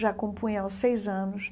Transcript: Já compunha aos seis anos.